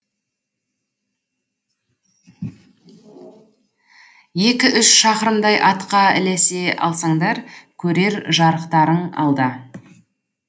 екі үш шақырымдай атқа ілесе алсаңдар көрер жарықтарың алда